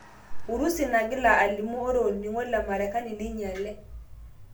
Urusi nagila alimu ore oningo o Marekani neinyale.